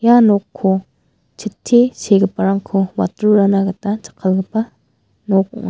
ia nokko chitti segiparangko watrurana gita jakkalgipa nok ong·a.